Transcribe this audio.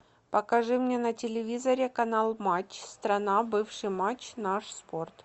покажи мне на телевизоре канал матч страна бывший матч наш спорт